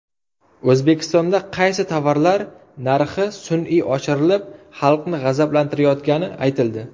O‘zbekistonda qaysi tovarlar narxi sun’iy oshirilib, xalqni g‘azablantirayotgani aytildi.